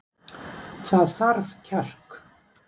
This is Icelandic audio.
Það þarf kjark